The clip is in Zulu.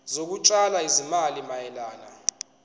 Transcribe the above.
zokutshala izimali mayelana